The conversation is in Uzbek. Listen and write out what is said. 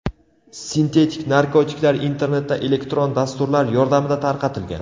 Sintetik narkotiklar internetda elektron dasturlar yordamida tarqatilgan.